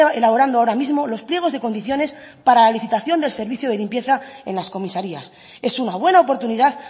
elaborando ahora mismo los pliegos de condiciones para la licitación del servicio de limpieza en las comisarías es una buena oportunidad